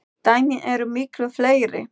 Dæmin eru miklu fleiri.